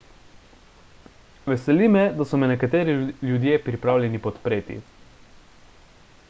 veseli me da so me nekateri ljudje pripravljeni podpreti